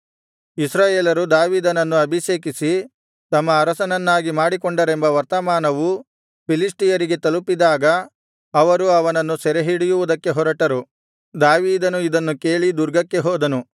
ಇಸ್ರಾಯೇಲರು ದಾವೀದನನ್ನು ಅಭಿಷೇಕಿಸಿ ತಮ್ಮ ಅರಸನನ್ನಾಗಿ ಮಾಡಿಕೊಂಡರೆಂಬ ವರ್ತಮಾನವು ಫಿಲಿಷ್ಟಿಯರಿಗೆ ತಲುಪಿದಾಗ ಅವರು ಅವನನ್ನು ಸೆರೆಹಿಡಿಯುವುದಕ್ಕೆ ಹೊರಟರು ದಾವೀದನು ಇದನ್ನು ಕೇಳಿ ದುರ್ಗಕ್ಕೆ ಹೋದನು